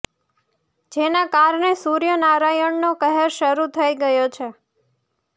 જેના કારણે સૂર્ય નારાયણનો કહેર શરૃ થઈ ગયો છે